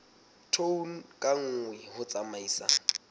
tone ka nngwe ho tsamaisa